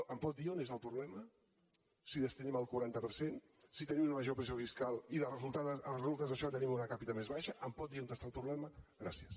em pot dir on és el problema si hi destinem el quaranta per cent si tenim una major pressió fiscal i de resultes d’això tenim una per capita més baixa em pot dir on hi ha el problema gràcies